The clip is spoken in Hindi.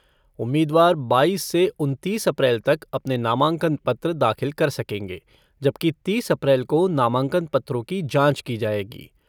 उम्मीदवार बाईस से उनतीस अप्रैल तक अपने नामांकन पत्र दाखिल कर सकेंगे जबकि तीस अप्रैल को नामांकन पत्रों की जांच की जाएगी।